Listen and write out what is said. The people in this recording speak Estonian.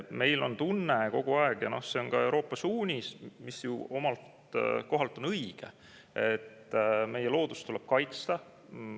Meil on tunne kogu aeg – ja noh, see on ka Euroopa suunis, mis ju omast kohast on õige –, et meie loodust tuleb kaitsta.